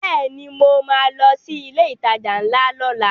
Bẹ́ẹ̀ni mo ma lọ sí ilé ìtajà ńlá lọ́la